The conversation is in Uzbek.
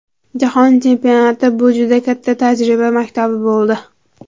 Jahon chempionati bu juda katta tajriba maktabi bo‘ldi.